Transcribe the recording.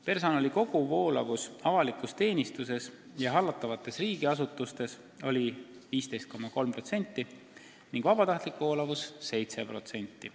Personali koguvoolavus avalikus teenistuses ja hallatavates riigiasutustes oli 15,3% ning vabatahtlik voolavus 7%.